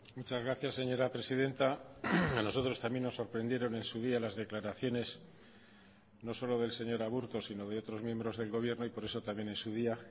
muchas gracias señora presidenta a nosotros también nos sorprendieron en su día las declaraciones no solo del señor aburto sino de otros miembros del gobierno y por eso también en su día